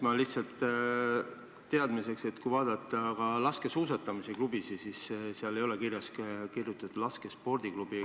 Ma lihtsalt teadmiseks ütlen, et kui vaadata laskesuusatamisklubisid, siis nende kohta ei ole kirjutatud "laskespordiklubi".